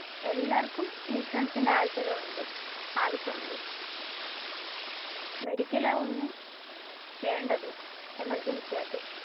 എല്ലാര്ക്കും ഇൻഷുറൻസിന്റെ ആവശ്യമുണ്ട്. medical ആണ് ഒന്ന് വേണ്ടത്. emergency ആയിട്ടു